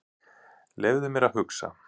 Leyfðu mér að hugsa.